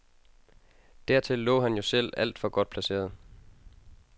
Dertil lå han jo selv alt for godt placeret.